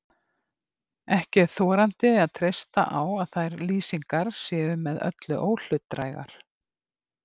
Ekki er þorandi að treysta á að þær lýsingar séu með öllu óhlutdrægar.